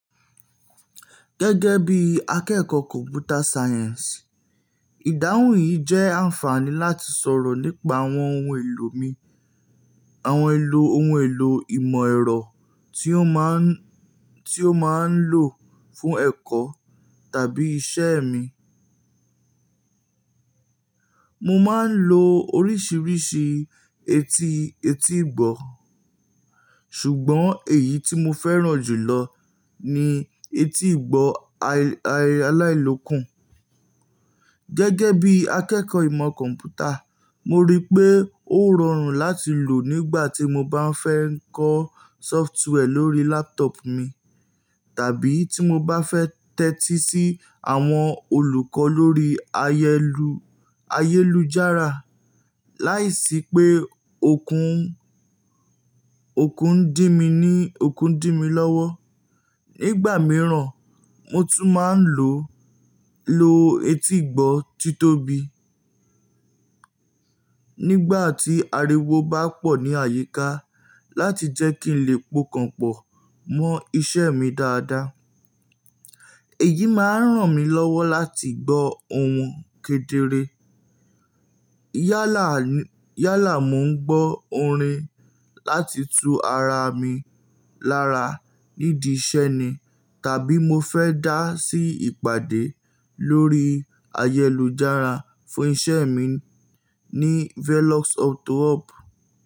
Gẹ́gẹ́ bí akẹ́kọ̀ọ́ Computer Science, ìdáhùn yìí jẹ́ àǹfààní láti sọ̀rọ̀ nípa àwọn ohun èlò mi, àwọn ohun èlò ìmọ̀ ẹ̀rọ tí ó máa ń, tí ó máa ń lò fún ẹ̀kọ́ tàbí iṣẹ́ mi. Mo máa ń lo oríṣiríṣi etí etígbọ̀ọ́, ṣùgbọ́n èyí tí mo fẹ́ràn jùlọ ni etígbọ̀ọ́ aláìlòkùn. Gẹ́gẹ́ bí akẹ́kọ̀ọ́ ìmọ̀ kọ̀m̀pútà, mo rí i pé ó rọrùn láti lò nígbà tí mo bá fẹ́ ń kọ́ sọftiwẹ́ẹ̀ lórí lápútọ̀ọ̀pù mi tàbí tí mo bá fẹ́ tẹ́tí sí àwọn olùkọ́ lórí ayélujára láìsí pé òkun, òkun dímú ní òkun dímú lọ́wọ́. Nígbà mìíràn, mo tún máa ń lo, lo etígbọ̀ọ́ tí tóbi nígbà tí ariwo bá pọ̀ ní àyíká láti jẹ́ kí n lè pokanpọ̀ mọ iṣẹ́ mi dáadáa. Èyí máa ń ràn mí lọ́wọ́ láti gbọ́ ohùn kedere. Yálà, yálà mo ń gbọ́ orin láti tu ara mi lára nídìí iṣẹ́ ni tàbí mo fẹ́ dá sí ìpàdé lórí ayélujára fún iṣẹ́ mi ní Velox Auto Hub.